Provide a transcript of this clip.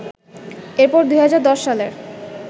এরপর ২০১০ সালের